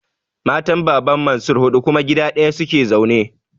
Matan Baban Mansir huɗu kuma gida ɗaya su ke zaune.